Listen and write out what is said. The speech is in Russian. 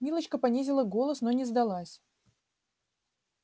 милочка понизила голос но не сдалась